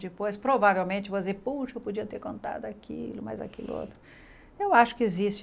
Depois, provavelmente, você vai dizer, poxa, eu podia ter contado aquilo, mas aquilo... Eu acho que existe.